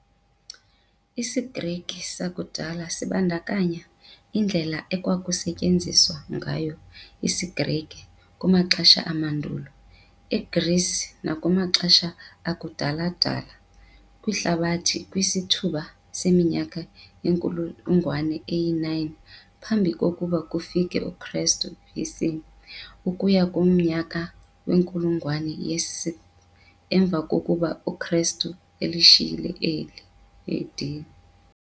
IsiGrike sakudala sibandakanya iindlela ekwakusetyenziswa ngayo isiGrike kumaxesha amandulo eGreece nakumaxesha akudala-dala kwihlabathi kwisithuba seminyaka yenkulungwane ye-9 phambi kokuba kufike uKristu, BC, ukuya kumnyaka wenkulungwane yesi-6th emva kokuba uKristu elishiyile eli, AD.